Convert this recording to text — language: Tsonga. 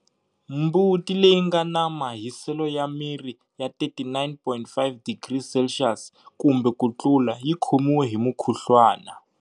Mbuti leyi nga na mahiselo ya miri ya 39.5 degrees Celsius kumbe ku tlula yi khomiwe hi mukhuhluwana.